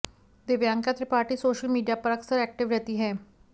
Divyanka Tripathi social media पर अक्सर active रहती हैं